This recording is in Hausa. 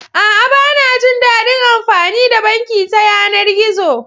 A'a, ba na jin daɗin amfani da banki ta yanar gizo.